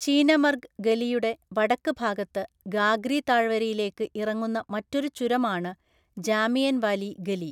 ചീനമര്ഗ് ഗലിയുടെ വടക്ക് ഭാഗത്ത് ഗാഗ്രി താഴ്‌വരയിലേക്ക് ഇറങ്ങുന്ന മറ്റൊരു ചുരമാണ് ജാമിയൻവാലി ഗലി.